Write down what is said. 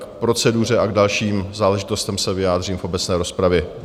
K proceduře a k dalším záležitostem se vyjádřím v obecné rozpravě.